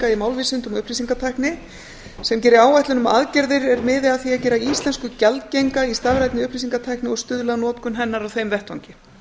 í málvísindum og upplýsingatækni sem geri áætlun um aðgerðir er miði að því að gera íslensku gjaldgenga í stafrænni upplýsingatækni og stuðla að notkun hennar á þeim vettvangi